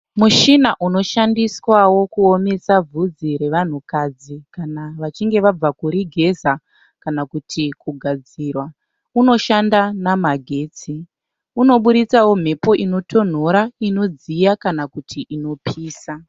Mushina unoshandiswawo kuomesa bvudzi revanhukadzi kana vachinge vabva kuri geza kana kuti kugadzirwa. Unoshanda namagetsi. Unoburitsawo mhepo inotonhora, inodziya kana kuti inopisa.